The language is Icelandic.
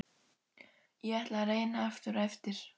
Ég ætla að reyna aftur á eftir.